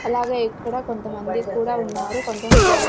అలాగే ఇక్కడ కొంతమంది కూడా ఉన్నారు కొంతం నిలబడి--